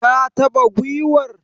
Ka taba giwar?